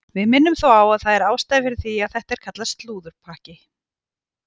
Við minnum þó á að það er ástæða fyrir því að þetta er kallað slúðurpakki.